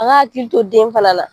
A k'a hakili to den fana na.